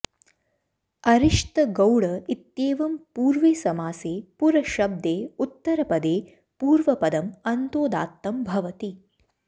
अरिष्त गौड इत्येवं पूर्वे समासे पुरशब्दे उत्तरपदे पूर्वपदम् अन्तोदात्तं भवति